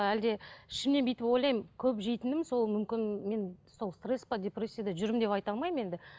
әлде ішімнен бүйтіп ойлаймын көп жейтінім сол мүмкін мен сол стресс пе депрессияда жүрмін деп айта алмаймын енді